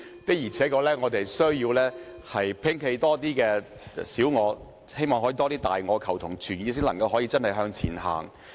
我們的確需要摒棄更多小我，亦希望有更多大我，求同存異才可以真正向前走。